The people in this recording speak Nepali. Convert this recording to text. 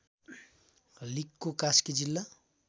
लिगको कास्की जिल्ला